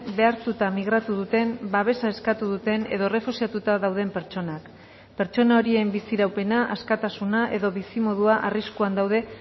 behartuta migratu duten babesa eskatu duten edo errefuxiatuta dauden pertsonak pertsona horien biziraupena askatasuna edo bizimodua arriskuan daude